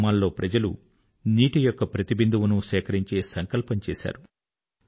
గ్రామాల్లో ప్రజలు నీటి యొక్క ప్రతి బిందువునూ సేకరించే సంకల్పం చేశారు